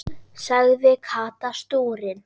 sagði Kata stúrin.